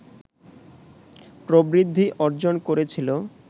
প্রবৃদ্ধি অর্জন করেছিল